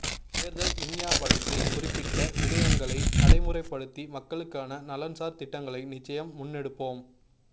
தேர்தல் விஞ்ஞாபனத்தில் குறிப்பிட்ட விடயங்களை நடைமுறைப்படுத்தி மக்களுக்கான நலன்சார் திட்டங்களை நிச்சயம் முன்னெடுப்போம்